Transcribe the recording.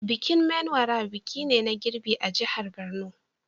Bikin Menwara biki ne na girbi a jihar Borno.